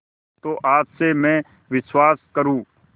तो आज से मैं विश्वास करूँ